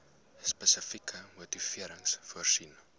spesifieke motivering voorsien